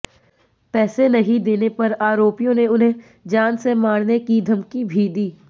पैसे नहीं देने पर आरोपियों ने उन्हें जान से मारने की धमकी भी दी